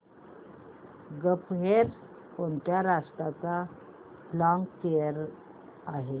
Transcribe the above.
gulf Air कोणत्या राष्ट्राची flag carrier आहे